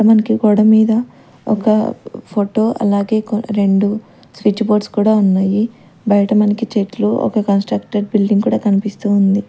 మనకి గోడమీద ఒక ఫోటో అలాగే కొ రెండు స్విచ్ బోర్డ్స్ కూడా ఉన్నాయి బయట మనకి చెట్లు ఒక కన్స్ట్రక్టేడ్ బిల్డింగ్ కూడా కనిపిస్తూ ఉంది.